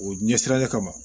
O ɲɛ sira le kama